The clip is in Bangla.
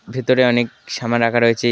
ভেতরে অনেক সামান রাখা রয়েছে।